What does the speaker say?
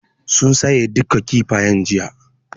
Sun saye duka Kifayen jiya